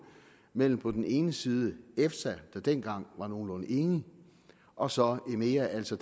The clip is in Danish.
mellem på den ene side efsa der dengang var nogenlunde enig og så emea altså